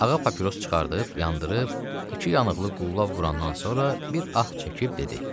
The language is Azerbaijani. Ağa papiros çıxardıb, yandırıb, iki yanıqlı qulla vurandan sonra bir ah çəkib dedi: